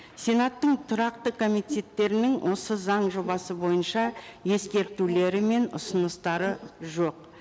сенаттың тұрақты комитеттерінің осы заң жобасы бойынша ескертулері мен ұсыныстары жоқ